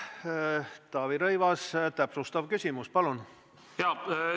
Taavi Rõivas, täpsustav küsimus, palun!